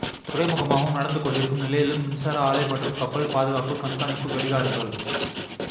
துறைமுகமாகவும் நடந்துகொண்டிருக்கும் நிலையிலும் மின்சார ஆலை மற்றும் கப்பல் பாதுகாப்புக் கண்காணிப்புக் கடிகாரங்கள்